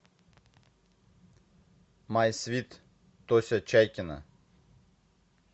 май свит тося чайкина